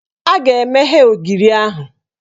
A ga-emeghe ogiri ahụ